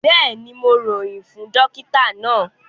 Bẹ́ẹ̀ni, Mo royin fún dòkìtà na.